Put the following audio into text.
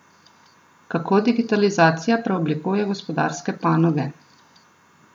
Kako digitalizacija preoblikuje gospodarske panoge?